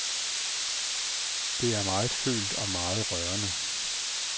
Det er meget følt og meget rørende.